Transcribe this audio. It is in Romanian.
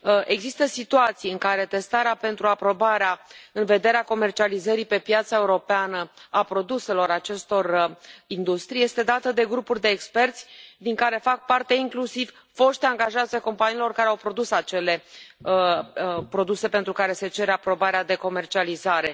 Există situații în care testarea pentru aprobarea în vederea comercializării pe piața europeană a produselor acestor industrii este dată de grupuri de experți din care fac parte inclusiv foști angajați ai companiilor care au produs acele produse pentru care se cere aprobarea de comercializare.